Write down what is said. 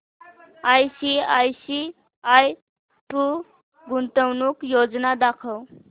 ICICI Pru गुंतवणूक योजना दाखव